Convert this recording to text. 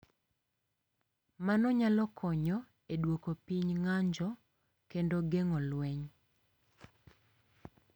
Ma nyalo konyo e duoko piny ng’anjo kendo geng’o lweny.